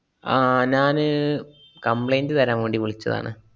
ആഹ് ഞാന് complaint തരാന്‍ വേണ്ടി വിളിച്ചതാണ്.